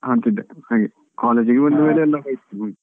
ಆಡ್ತಿದ್ದೆ ಹಾಗೆ, college ಈಗೆ ಬಂದ್ಮೇಲೆ ಎಲ್ಲಾ ಹೋಯ್ತು ಬಿಡಿ.